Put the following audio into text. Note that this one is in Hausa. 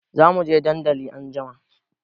Zamuje dandali anjima